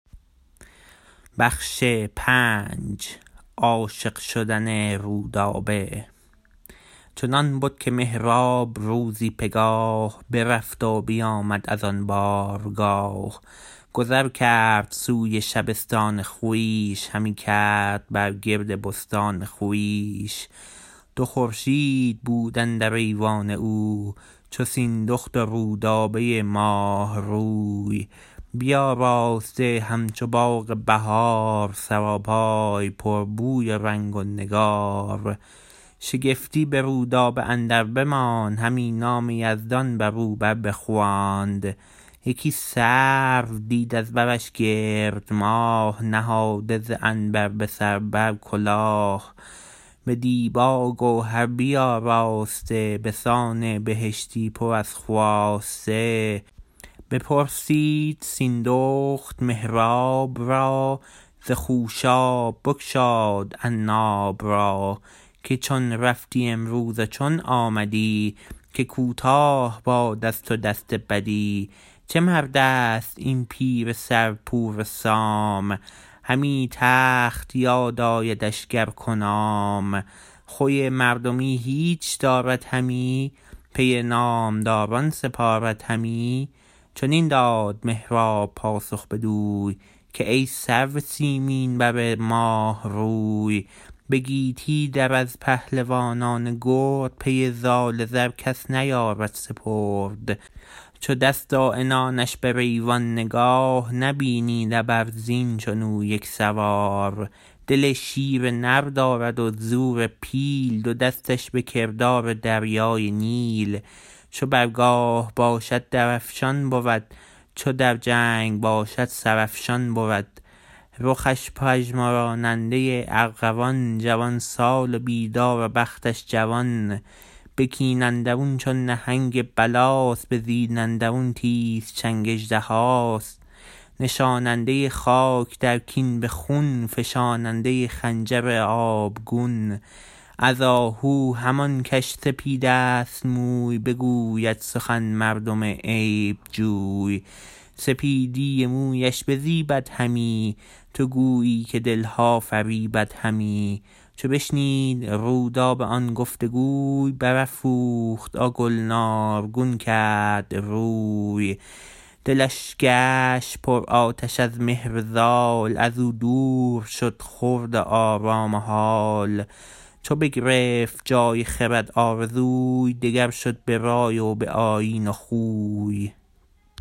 چنان بد که مهراب روزی پگاه برفت و بیامد از آن بارگاه گذر کرد سوی شبستان خویش همی گشت بر گرد بستان خویش دو خورشید بود اندر ایوان او چو سیندخت و رودابه ماه روی بیاراسته همچو باغ بهار سراپای پر بوی و رنگ و نگار شگفتی به رودابه اندر بماند همی نام یزدان بر او بر بخواند یکی سرو دید از برش گرد ماه نهاده ز عنبر به سر بر کلاه به دیبا و گوهر بیاراسته به سان بهشتی پر از خواسته بپرسید سیندخت مهراب را ز خوشاب بگشاد عناب را که چون رفتی امروز و چون آمدی که کوتاه باد از تو دست بدی چه مردست این پیر سر پور سام همی تخت یاد آیدش گر کنام خوی مردمی هیچ دارد همی پی نامداران سپارد همی چنین داد مهراب پاسخ بدوی که ای سرو سیمین بر ماه روی به گیتی در از پهلوانان گرد پی زال زر کس نیارد سپرد چو دست و عنانش بر ایوان نگار نبینی نه بر زین چون او یک سوار دل شیر نر دارد و زور پیل دو دستش به کردار دریای نیل چو بر گاه باشد در افشان بود چو در جنگ باشد سر افشان بود رخش پژمراننده ارغوان جوان سال و بیدار و بختش جوان به کین اندرون چون نهنگ بلاست به زین اندرون تیز چنگ اژدهاست نشاننده خاک در کین به خون فشاننده خنجر آبگون از آهو همان کش سپیدست موی بگوید سخن مردم عیب جوی سپیدی مویش بزیبد همی تو گویی که دلها فریبد همی چو بشنید رودابه آن گفت گوی برافروخت و گلنارگون کرد روی دلش گشت پرآتش از مهر زال از او دور شد خورد و آرام و هال چو بگرفت جای خرد آرزوی دگر شد به رای و به آیین و خوی